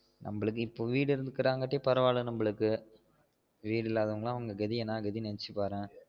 நம்மளுக்கு இப்போ வீடு இருக்குறதுனால பரவாயில்ல நம்மளுக்கு வீடு இல்லதவங்கலாம் அவுங்க கெதி என்னா கெதினு நெனச்சுபாரு